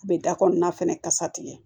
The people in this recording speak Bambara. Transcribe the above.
U bɛ da kɔnɔna fɛnɛ kasa tigɛ